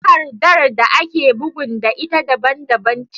Takardar da ake bugun da ita daban daban ce